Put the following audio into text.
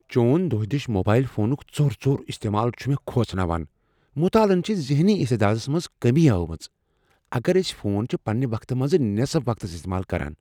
چون دۄہدش موبایل فونُک ژوٚر ژوٚر استعمال چھ مےٚ کھوژناوان، مطالعن چھےٚ ذہنی استعدادس منٛز کٔمی ہٲومٕژ اگر ٲسۍ فون چھ پنٛنہ وقتہٕ منٛزٕ نٮ۪صف وقتس استعمال کران۔